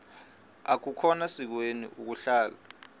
akukhona sikweni ukuhlala